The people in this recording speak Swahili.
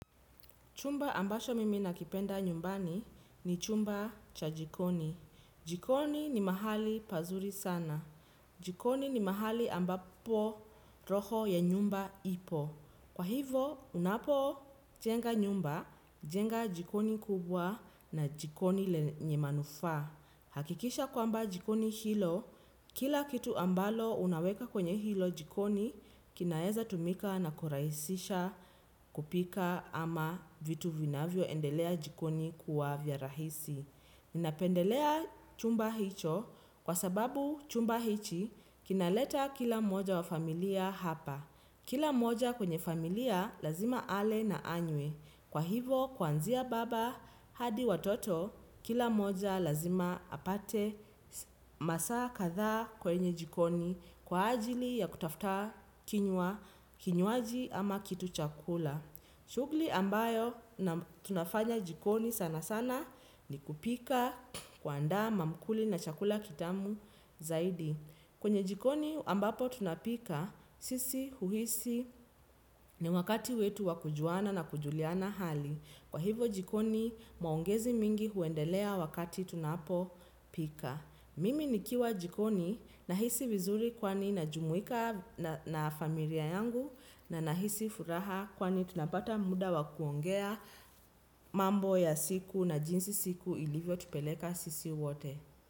Chumba ambacho mimi nakipenda nyumbani ni chumba cha jikoni. Jikoni ni mahali pazuri sana. Jikoni ni mahali ambapo roho ya nyumba ipo. Kwa hivo, unapojenga nyumba, jenga jikoni kubwa na jikoni lenye manufaa. Hakikisha kwamba jikoni hilo, kila kitu ambalo unaweka kwenye hilo jikoni, kinaeza tumika na kurahisisha kupika ama vitu vinavyoendelea jikoni kuwa vya rahisi. Ninapendelea chumba hicho kwa sababu chumba hichi kinaleta kila mmoja wa familia hapa. Kila moja kwenye familia lazima ale na anywe. Kwa hivo kuanzia baba hadi watoto kila moja lazima apate masaa kadhaa kwenye jikoni kwa ajili ya kutafuta kinywaji ama kitu cha kula. Shughuli ambayo tunafanya jikoni sana sana ni kupika kuandaa mamkuli na chakula kitamu zaidi. Kwenye jikoni ambapo tunapika, sisi huhisi ni wakati wetu wa kujuana na kujuliana hali. Kwa hivo jikoni maongezi mingi huendelea wakati tunapopika. Mimi nikiwa jikoni nahisi vizuri kwani najumuika na familia yangu na nahisi furaha kwani tunapata muda wa kuongea mambo ya siku na jinsi siku ilivyotupeleka sisi wote.